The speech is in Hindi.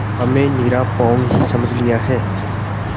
हमें निरा पोंगा ही समझ लिया है